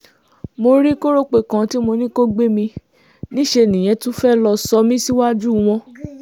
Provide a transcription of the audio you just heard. mo rí kọ́rọ́pọ̀ kan tí mo ní kó gbé mi níṣẹ́ nìyẹn tún fẹ́ẹ́ lọ́ọ́ sọ mí síwájú wọn